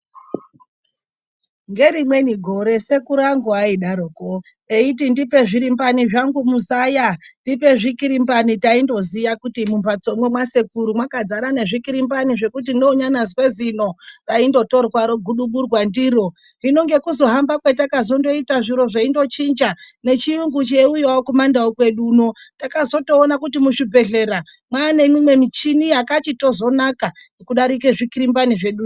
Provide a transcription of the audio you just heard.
Ngerimweni gore sekuru angu aidaroko eiti "ndipe zvirimbani zvangu muzaya, ndipe zvikirimbani", taindoziya kuti mumphatsomwo mwasekuru mwakadzara nezvikirimbani zvekuti neunonyazwe zino raindotorwa roguduburwa ndiro, hino ngekuzohamba kwetakazondoita nechiyungu cheiuyawo kumandau kwedu uno takazotoona kuti muzvibhedhlera mwaane mimwe michini yakachitozonaka kudarika zvikirimbani zveduzvo.